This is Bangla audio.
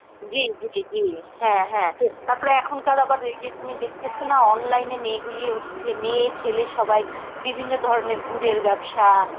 জী, জী, জী, হ্যাঁ, হ্যাঁ তাপরে এখনকার আবার এই যে তুমি দেখতেসো না online এ মেয়েগুলি হচ্ছে, মেয়ে ছেলে সবাই বিভিন্ন ধরনের গুড়ের ব্যবসা